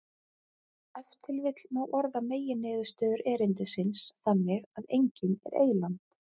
Ef til vill má orða meginniðurstöður erindisins þannig að enginn er eyland.